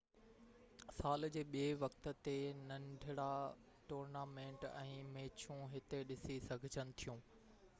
سال جي ٻي وقت تي ننڍڙا ٽورنامينٽ ۽ ميچون هتي ڏسي سگهجن ٿيون